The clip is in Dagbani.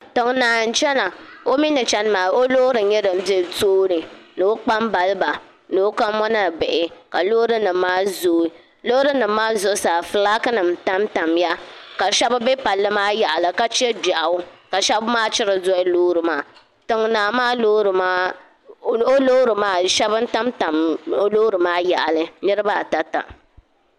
Tiŋnaa n chena o mee ni chena maa o loori n nyɛ din be tooni ni o kpambaliba ni o kamona bihi la loori nima maa zooi Loori nima maa zuɣusaa filaaki nima tam tamya ka sheba be palli maa yaɣali ka che gbiaɣu ka sheba maachiri doli loori maa tiŋnaa maa loori maa sheba n tam tam loori maa yaɣali niriba ata ta.